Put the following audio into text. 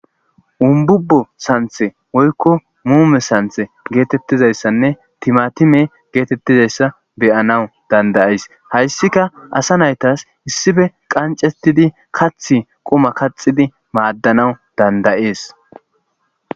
umbubo santhe woykko muume santhe geetettizayssanne timatime geetettizayssa beyanawu dandayeys hayssika asa naytas issife qancetidi kath quma kaxidi maaddanawu dandayees